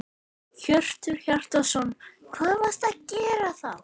Hjörtur Hjartarson: Hvað varstu að gera þá?